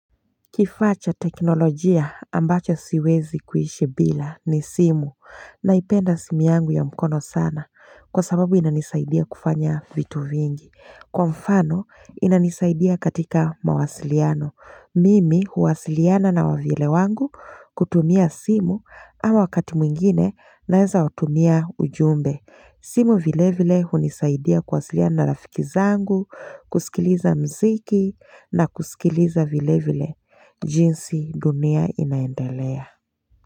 Kifaa cha teknolojia ambacho siwezi kuishi bila ni simu naipenda simu yangu ya mkono sana kwa sababu inanisaidia kufanya vitu vingi. Kwa mfano inanisaidia katika mawasiliano. Mimi huwasiliana na wavyele wangu kutumia simu ama wakati mwingine naweza watumia ujumbe. Simu vile vile hunisaidia kuwasiliana na rafiki zangu, kusikiliza mziki na kusikiliza vile vile. Jinsi dunia inaendelea.